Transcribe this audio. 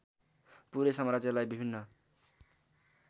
पूरै साम्राज्यलाई विभिन्न